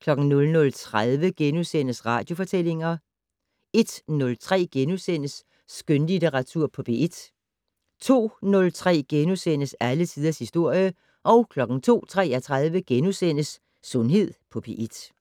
* 00:30: Radiofortællinger * 01:03: Skønlitteratur på P1 * 02:03: Alle tiders historie * 02:33: Sundhed på P1 *